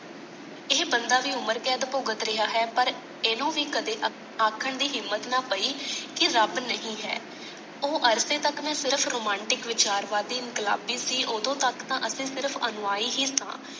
ਏਹੇ ਬੰਦਾ ਵੀ ਉਮਰਕੈਦ ਭੁਗਤ ਰਹਿਆ ਹੈ ਪਰ ਇਹਨੂੰ ਵੀ ਕਦੇ ਆਖਣ ਦੀ ਹਿੰਮਤ ਨਾ ਪਈ ਕੀ ਰੱਬ ਨਹੀਂ ਹੈ ਉਹ ਅਰਸੇ ਤਕ ਮੈਂ ਸਿਰਫ਼ romantic ਵਿਚਾਰਵਾਦੀ ਇੰਨਕਲਾਬੀ ਸੀ ਓਦੋ ਤਕ ਤਾਂ ਅਸੀਂ ਸਿਰਫ਼ ਅਨੁਆਈ ਹੀ ਸਾਂ।